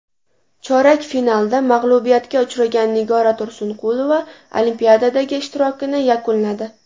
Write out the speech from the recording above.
Chorak finalda mag‘lubiyatga uchragan Nigora Tursunqulova Olimpiadadagi ishtirokini yakunladi.